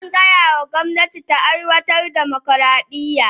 An gaya wa gwamnati ta aiwatar da dimokuradiyya.